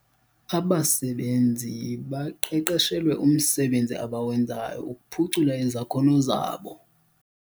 Abasebenzi baqeqeshelwe umsebenzi abawenzayo ukuphucula izakhono zabo.